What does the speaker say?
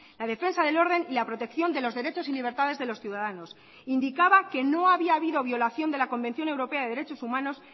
la defensa del orden y la protección de los derechos y libertades de los ciudadanos indicaba que no había habido violación de la convención europea de derechos humanos